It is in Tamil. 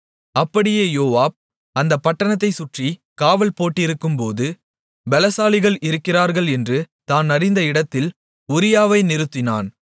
அப்படியே யோவாப் அந்தப் பட்டணத்தைச் சுற்றி காவல்போட்டிருக்கும்போது பெலசாலிகள் இருக்கிறார்கள் என்று தான் அறிந்த இடத்தில் உரியாவை நிறுத்தினான்